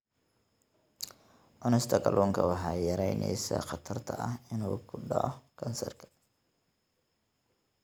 Cunista kalluunka waxay yaraynaysaa khatarta ah inuu ku dhaco kansarka.